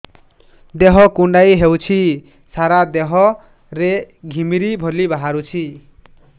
ଦେହ କୁଣ୍ଡେଇ ହେଉଛି ସାରା ଦେହ ରେ ଘିମିରି ଭଳି ବାହାରୁଛି